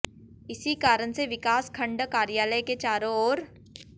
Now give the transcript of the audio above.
इसी कारण से विकास खंड कार्यालय के चारों ओर